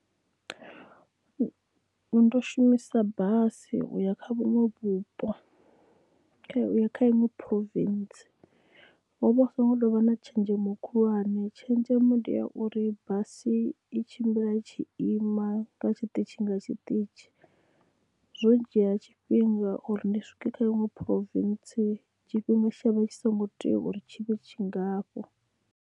Ndo shumisa basi uya kha vhuṅwe vhupo kha iṅwe province hovha hu so ngo tovha na tshenzhemo khulwane tshenzhemo ndi ya uri basi i tshimbila i tshi ima nga tshiṱitshi nga tshiṱitshi zwo dzhia tshifhinga uri ndi swike kha iṅwe province tshifhinga tshe tshavha tshi songo tea uri tshi vhe tshingafho.